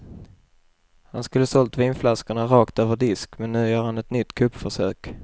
Han skulle ha sålt vinflaskorna rakt över disk, men nu gör han ett nytt kuppförsök.